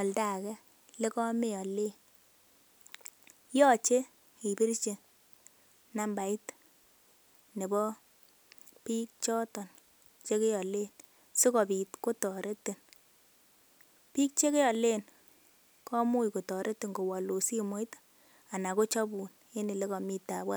oldo age ole kameolen, yoche ibirchi nambait nebo biik choton che kealen sikobit kotoretin. Biik che kealen komuch kotoretin kowalun simoit anan kochubun en ele komi taabu.